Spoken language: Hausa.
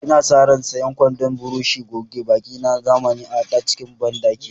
Ina sa ran sanya kwandon burushin goge baki na zamani a cikin bandakina.